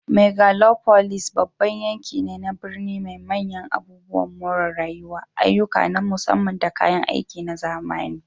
Megalopolis babban yanki ne na birni mai manyan abubuwan more rayuwa, ayyuka na musamman, da kayan aiki na zamani.